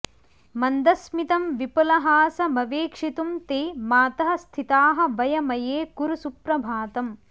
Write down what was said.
मन्दस्मितं विपुलहासमवेक्षितुं ते मातः स्थिताः वयमये कुरु सुप्रभातम्